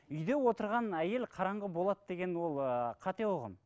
үйде отырған әйел қараңғы болады деген ол ыыы қате ұғым